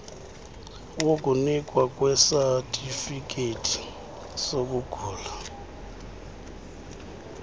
wokunikwa kwesatifikhethi sokugula